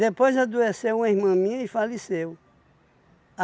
Depois adoeceu uma irmã minha e faleceu.